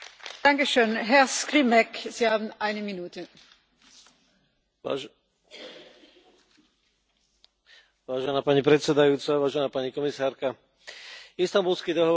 Vážená pani predsedajúca, vážená pani komisárka, Istanbulský dohovor má bezpochyby niektoré vznešené ciele ohľadne boja proti násiliu voči ženám, ale má aj niektoré vážne problémy.